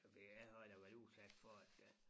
Fordi jeg har da været udsat for at øh